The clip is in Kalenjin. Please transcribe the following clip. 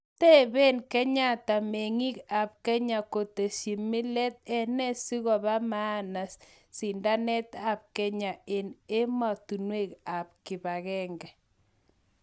tepeen Kenyatta mengiik ap Kenya �kosteechi mileet� enee sigopa maana sindaneet ap Kenya en ematunwek ap kipagenge